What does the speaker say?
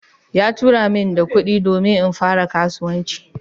Ya aika mini da kudi domin in fara kasuwanci